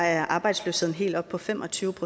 er arbejdsløsheden helt oppe på fem og tyve